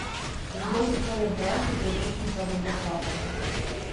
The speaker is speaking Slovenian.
In kdo so torej bralci priročnika za zapravljanje?